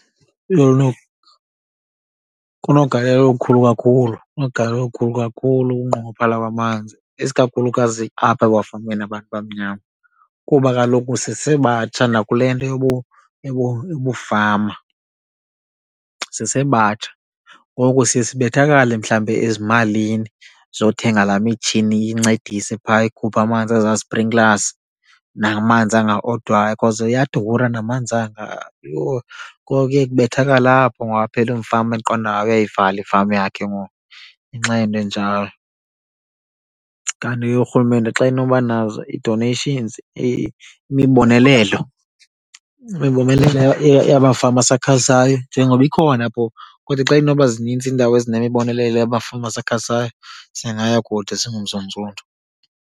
Kunogalelo olukhulu kakhulu. Kunogalelo olukhulu kakhulu ukungqongophala kwamanzi esikakhulukazi apha ebafameni yabantu abamnyama kuba kaloku sisebatsha nakule nto yobufama, sisebatsha. Ngoku siye sibethakale, mhlawumbi, ezimalini zokuthenga laa mitshini incedise phaa ikhuphe amanzi ezaa sprinklers namanzi angaodwayo because iyadura namanzi anga yho. Ngoku kuye kubethakale apho ngoku aphele umfama eqonda hayi uyayivala ifama yakhe ngoku ngenxa yento enjalo. Kanti ke uRhulumente xa enoba nazo i-donations imibonelelo, imibonelelo yabafama asakhasayo njengoba ikhona phofu kodwa xa inoba zinintsi iindawo ezinemibonelelo yabafama abasakhasayo singaya kude singuMzantsi .